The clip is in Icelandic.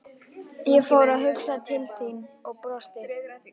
Ég fór að hugsa til þín og brosti.